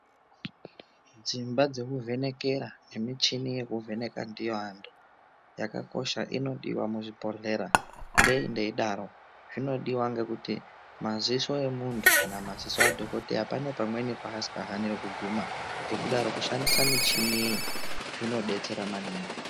Dzimba dzekuvhenekera nemichini yekuvheneka ndiyo antu yakakosha inodiwa muzvibhedhlera ngei ndeidaro zvinodiwa ngekuti maziso emntu kana maziso adhokodheya pane pamweni paasika haniri kuguma ngekudaro kushandisa muchini zvinodetsera maningi.